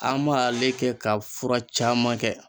An b'ale kɛ ka fura caman kɛ.